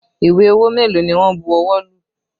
Ìwé owó mélòó ni wọn bu ọwọ́ lù?